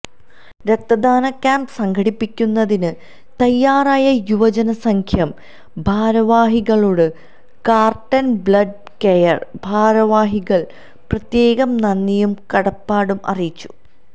രക്തദാന ക്യാമ്പ് സംഘടിപ്പിക്കുന്നതിന് തയ്യാറായ യുവജന സഖ്യം ഭാരവാഹികളോടു കാർട്ടർ ബ്ലഡ് കെയർ ഭാരവാഹികൾ പ്രത്യേകം നന്ദിയും കടപ്പാടും അറിയിച്ചു